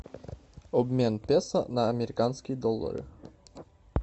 обмен песо на американские доллары